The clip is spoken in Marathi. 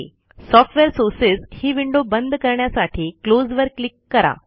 सॉफ्टवेअर सोर्सेस ही विंडो बंद करण्यासाठी क्लोज वर क्लिक करा